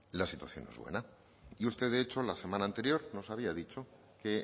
la situación no es buena y usted de hecho la semana anterior nos había dicho que